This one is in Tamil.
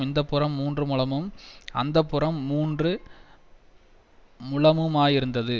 இந்தப்புறம் மூன்று முழமும் அந்தப்புறம் மூன்று முழமுமாயிருந்தது